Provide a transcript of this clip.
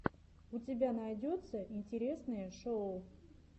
у тебя найдется интересные шоу